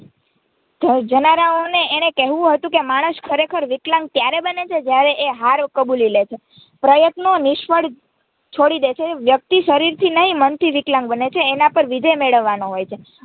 જનારાઓને એણે કેહવું હતું કે માણસ ખરેખર વિકલાંગ ત્યારે બને છે જયારે એ હાર કબૂલીલે છે પ્રયત્નો નિષ્ફળ છોડી દે છે વ્યક્તિ શરીરથી નહીં મનથી વિકલાંગ બને છે એનાં પર વિજય મેળવાનો હોયે છે.